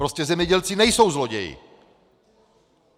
Prostě zemědělci nejsou zloději.